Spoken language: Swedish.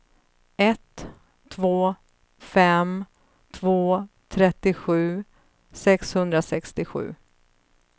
ett två fem två trettiosju sexhundrasextiosju